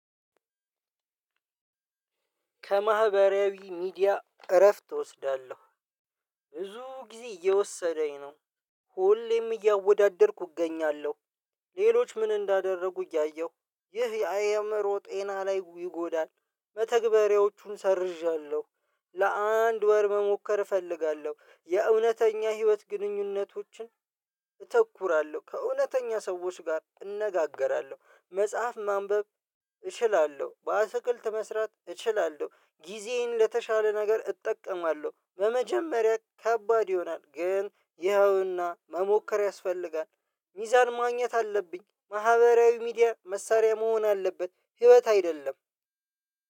ከማህበራዊ ሚዲያ እረፍት እወስዳለሁ። ብዙ ጊዜ እየወሰደኝ ነው ሁሌም እያወዳደርኩ እገኛለሁ። ሌሎች ምን እንዳደረጉ እያየሁ ይህ የአ አእምሮ ጤና ላይ ይጎዳል። መተግበሬዎቹን ሰርዣለሁ። ለአንድ ወር መሞከር እፈልጋለሁ የእውነተኛ ህይወት ግንኙነቶችን። ተኩራለሁ ከእውነተኛ ሰዎች ጋር እነጋገራለሁ መጽሐፍ ማንበብ። እችላለሁ በአትክልት መስራት እችላለሁ ጊዜየን ለተሻለ ነገር እጠቀማለሁ። በመጀመሪያ ከባድ ይሆናል ግን ይኸውና መሞከር ያስፈልጋል። ሚዛን ማግኘት አለብኝ። ማህበራዊ ሚዲያ መሳሪያ መሆን አለበት። ህይወት አይደለም።